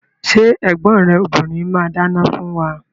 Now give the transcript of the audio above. Ṣé ẹ̀gbọ́n rẹ obìrin máa dáná fún wa?